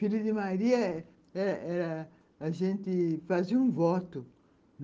Filha de Maria era era ... A gente fazia um voto.